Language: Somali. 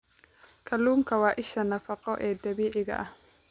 Kalluunku waa isha nafaqo ee dabiiciga ah.